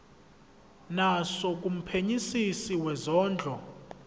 naso kumphenyisisi wezondlo